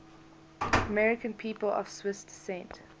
american people of swiss descent